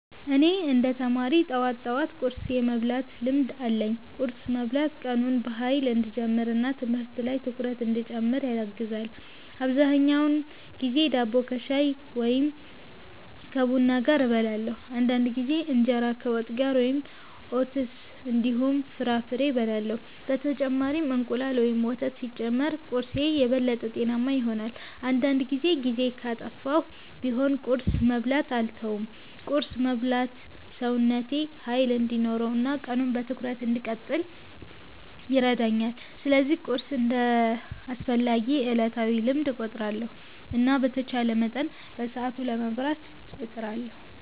እኔ እንደ ተማሪ ጠዋት ጠዋት ቁርስ የመብላት ልምድ አለኝ። ቁርስ መብላት ቀኑን በኃይል እንዲጀምር እና ትምህርት ላይ ትኩረት እንዲጨምር ያግዛል። አብዛኛውን ጊዜ ዳቦ ከሻይ ወይም ከቡና ጋር እበላለሁ። አንዳንድ ጊዜ እንጀራ ከወጥ ጋር ወይም ኦትስ እንዲሁም ፍራፍሬ እበላለሁ። በተጨማሪም እንቁላል ወይም ወተት ሲጨመር ቁርስዬ የበለጠ ጤናማ ይሆናል። አንዳንድ ጊዜ ጊዜ ካጠፋሁ ቢሆንም ቁርስ መብላትን አልተውም። ቁርስ መብላት ሰውነቴ ኃይል እንዲኖረው እና ቀኑን በትኩረት እንድቀጥል ይረዳኛል። ስለዚህ ቁርስን እንደ አስፈላጊ ዕለታዊ ልምድ እቆጥራለሁ እና በተቻለ መጠን በሰዓቱ ለመብላት እጥራለሁ።